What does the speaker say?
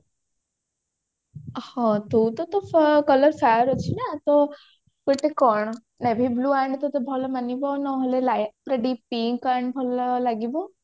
ହଁ ତୁ ତ ତୋ colour fair ଅଛି ନା ତ ତତେ କଣ navy blue ଆଣେ ତତେ ଭଲ ମାନିବ ନହେଲେ light pink ଆଣେ ଭଲ ଲାଗିବ